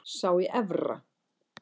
Sá í Efra.